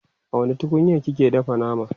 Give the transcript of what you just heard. a wani tukunyar kike dafa nama?